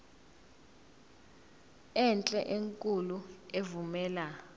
enhle enkulu evumela